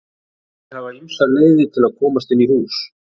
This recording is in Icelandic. Meindýr hafa ýmsar leiðir til að komast inn í hús.